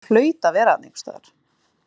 Gerður hlaut að vera þarna einhvers staðar.